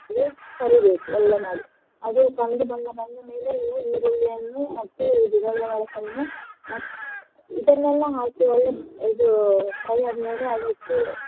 ಕರಿಬೇಕು ಒಳ್ಳೆ ಮಾಡಿ ಅದೆ ಕಂದು ಬಣ್ಣ ಬಂದ ಮೇಲೆ ನೀವು ಈರುಳ್ಳಿಯನ್ನು ಮತ್ತೆ ಇದು ದೊಣ್ಣೆ ಮೆಣಸನ್ನು ಮತ್~ ಇದನ್ನೆಲ್ಲ ಹಾಕಿ ಒಳ್ಳೇ ಇದು fry ಆದ್ಮೇಲೆ ಅದಕ್ಕೆ